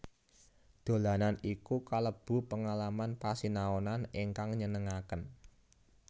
Dolanan iku kalebu pengalaman pasinaonan ingkang nyenengaken